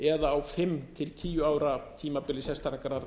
eða á fimm til tíu ára tímabili sérstakrar